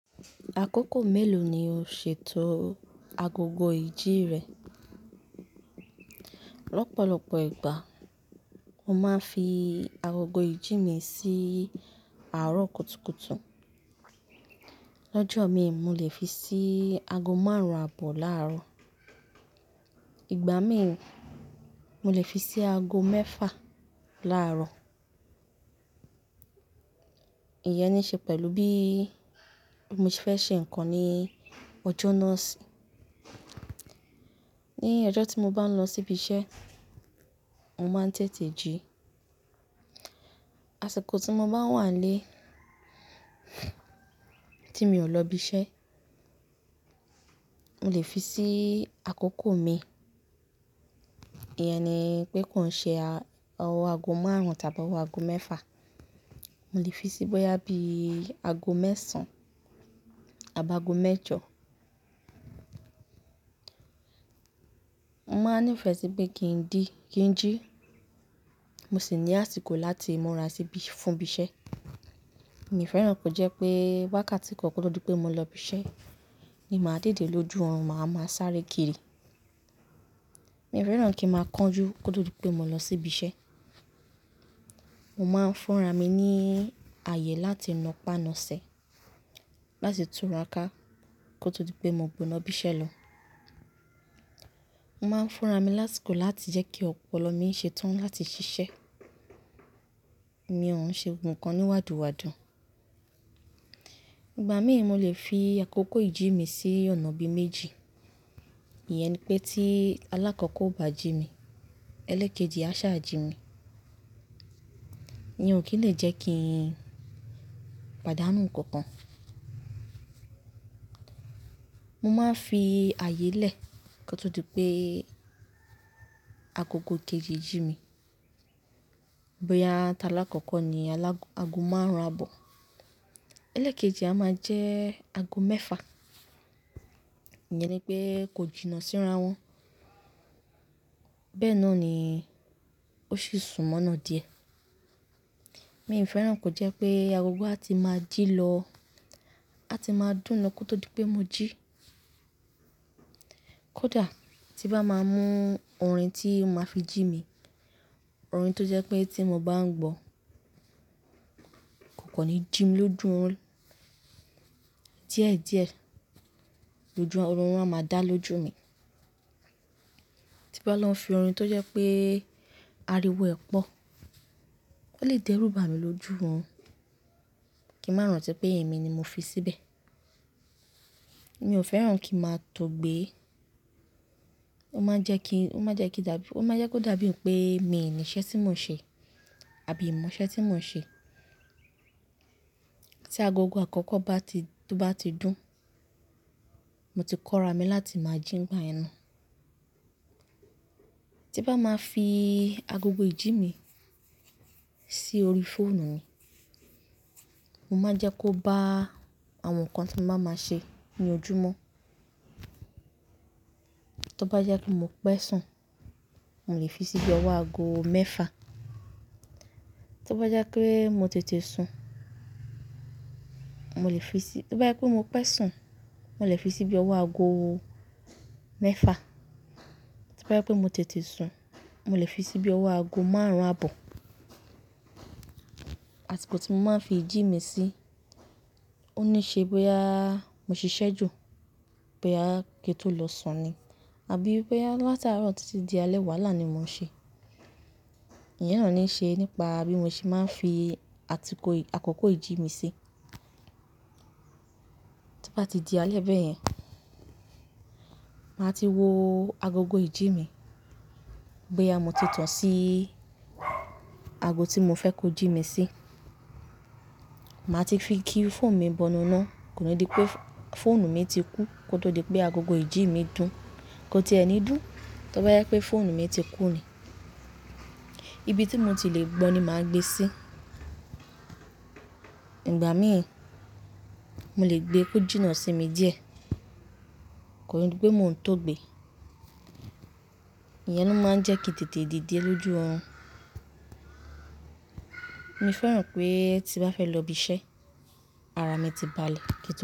Àkókò mélòó ni o ṣètò agogo ìjí rẹ? Lọ́pọ̀lọ́pọ̀ ìgbà mo máa ń fi agogo ìjí mi sí àárọ̀ kùtùkùtù. L'ọ́jọ́ mi, mo lè fi sí aago márùn-ún àbọ̀ láàárọ̀. Ìgbà mí, mo lè fi sí aago mẹ́fà láàárọ̀. Iyẹn ni ṣe pẹ̀lú bí mo ṣe fẹ́ ṣe nǹkan ní ọjọ náà sí. Ní ọjọ́ tí mo bá ń lọ síbi iṣẹ́, mo máa ń tètè jí. Àsìkò tí mo bá wà nlé tí mi ò lọ ibi iṣẹ́, mo lè fi sí àkókò mi. Iyẹn ni pé kó n ṣe ọwọ aago márùn-ún tàbí ọwọ aago mẹ́fà. Mo lè fi síi bóyá bí i aago mẹ́sàn àbá aago mẹ́jọ. Mo máa ń nífẹ̀ẹ́ sí pé kí n dí, kí n jí. Mo sì ní àsìkò láti múra síbí fún ibi iṣẹ́. Mi ò fẹ́ràn kí ó jẹ́ pé wákàtí kan kó tó di pé mo lọ ibi iṣẹ́ ni màá dède lójú orun, màá wá máa sáré kiri. Mi ò fẹ́ràn kí n máa kánjú kó tó di pé mo lọ sí ibi iṣẹ́. Mo máa ń fúnra mi ní ààyè láti napá nasẹ̀ láti tùráká kó tó di pé mo gbọ̀nà ibi iṣẹ́ lọ. Mo máa ń fún ra mi lásìkò láti jẹ́ kí ọpọlọ mi ṣe tán láti ṣiṣẹ́. Èmi ò ún ṣe ohun kan ni wàdùwàdù. Ìgbà míì mo le fi àkókò ìjí mi sí ọ̀nà bíi méjì. Iyẹn ni pé tí alákọ́ọ́kọ́ bá jí mi, ẹlẹ́kejì á sá jí mi. Ni ò kí lè jẹ́ kí n pàdánù nǹkan kan. Mo máa ń fi ààyè lẹ̀ kó tó di pé agogo kejì jí mi. Bóyá ta alákọ̀ọ́kọ́ ni alág-aago márùn-ún àbọ̀. Ẹlẹ́kejì a máa jẹ́ aago mẹ́fà. Ìyẹn ni pé kó jìnnà síra wọn. Bẹ́ẹ̀ náà ni ó sì sún mọ́nà díẹ̀. Mi ò fẹ́ràn kó jẹ́ pé agogo á ti máa jí lọ, á ti máa dún lọ kó tó di pé mo jí. Kódà tí bá máa mú orin tí màá fi jí mi, orin tó jẹ́ pé tí mo bá ń gbọ́, kò kàn ni jí mi lójú orun. Diẹ́diẹ̀ lójú o, orun máa dá lójú mi. Tí bá lọ fi orin tó jẹ́ pé ariwo ẹ̀ pọ̀, ó lè dẹ́rù bà mí lójú orun kí n máa rántí pé èmi ni mo fi síbẹ̀. Mi ò fẹ́ràn kí n máa tóò gbé. Ó máa ń jẹ́ kí, ó máa jẹ́ kí dàbí, ó máa jẹ́ kó dàbí pé mi ni iṣẹ́ tí mò ń ṣe àbí ń mò iṣẹ́ tí mò ń ṣe. Tí agogo àkọ́kọ́ bá ti, bá ti dún, mo ti kóra mi láti máa jí nígbà yẹn na. Tí bá máa fi agogo ìjí mi sí orí fóònù mi, mo máa ń jẹ́ kó bá àwọn nǹkan tí mo bá máa ṣe ní ojúmọ́. Tó bá jẹ́ pé mo pẹ́ sùn, mo lè fi sí bí i ọwọ́ aago mẹ́fà. Tó bá jẹ́ pé mo tètè sùn, mo lè fi sí-- tó bá jẹ́ pé mo pẹ́ sùn, mo lè fi sí bí i ọwọ́ aago mẹ́fà. Tó bá jẹ́ pé mo tètè sùn, mo lè fi sí bí i ọwọ́ aago márùn-ún àbọ̀. Àsìkò tí mo máa ń fi ìjí mi sí, ó ní ṣe bóyá mo ṣiṣẹ́ jù, bóyá kí n tó lọ sùn ni àbí bóyá látarọ títí di alẹ́ wàhálà ni mò ń ṣe. Iyẹn ni ó ní ṣe nípa bí mo ṣe máa ń fi àtìkò, àkókò ìjí mi ṣí. Tí bá ti di alẹ́ bẹ́ẹ̀ yẹn, màá ti wo agogo ìjí mi bóyá mo ti tán sí aago tí mo fẹ́ kó jí mi sí. Màá ti fi kí fóònù mi bọnu ná. Kò ní di pé fóònù mi ti kú kó tó di pé agogo ìjí mi dùn, kó tí ẹni dùn. Tó bá jẹ́ pé fóònù mi ti kú ni, ibi tí mo ti lè gbọ́ ni màá gbé sí. Ìgbà míì mo le gbé kó jìnnà sí mi díẹ̀, kò ní di pé mò ń tóò gbé. Iyẹn ló máa ń jẹ́ kí n tètè dìde lójú orun. Mi ò fẹ́ràn pé tí n bá fẹ́ lọ ibi iṣẹ́, ara mi ti balẹ̀ kí ń to.